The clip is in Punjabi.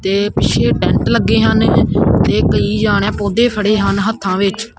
ਤੇ ਪਿੱਛੇ ਟੈਂਟ ਲੱਗੇ ਹਨ ਤੇ ਕਈਯਾਂ ਨੇਂ ਪੌਧੇ ਫੜੇ ਹਨ ਹੱਥਾਂ ਵਿੱਚ।